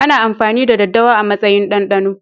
Ana amfani da daddawa a matsayin dandano